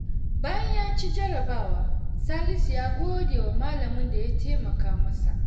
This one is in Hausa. Hauwa'u ta gode wa mijinta da ya ba ta tukunya sabuwa.